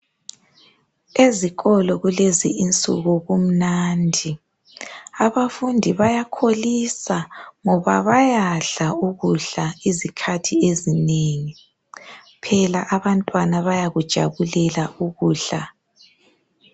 Ezikolo kulezi insuku kumnandi, abafundi bayakholisa ngoba bayadla ukudla izikhathi ezinengi, phela abantwana bayakujabulela ukudla.